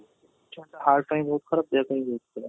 heart ପାଇଁ ବହୁତ ଖରାପ ଦେହ ପାଇଁ ବହୁତ ଖରାପ